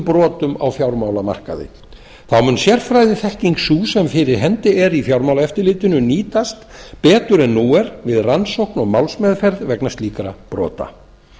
brotum á fjármálamarkaði þá mun sérfræðiþekking sú sem fyrir hendi er í fjármálaeftirlitinu nýtast betur en nú er við rannsókn og málsmeðferð vegna slíkra brota